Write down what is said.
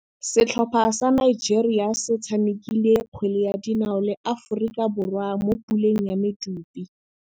Setlhopha sa Nigeria se tshamekile kgwele ya dinaô le Aforika Borwa mo puleng ya medupe.